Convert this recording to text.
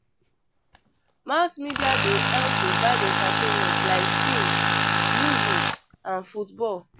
Mass media dey help provide entertainment like film, music and football.